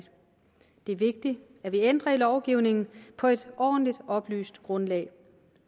er vigtigt at vi ændrer i lovgivningen på et ordentligt oplyst grundlag